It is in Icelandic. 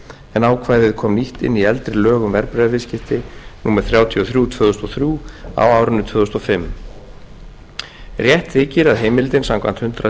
en ákvæðið kom nýtt inn í eldri lög um verðbréfaviðskipti númer þrjátíu og þrjú tvö þúsund og þrjú á árinu tvö þúsund og fimm rétt þykir að heimildin samkvæmt hundrað